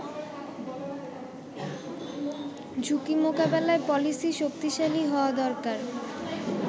“ঝুঁকি মোকাবেলার পলিসি শক্তিশালী হওয়া দরকার।